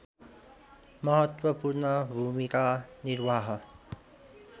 महत्त्वपूर्ण भूमिका निर्वाह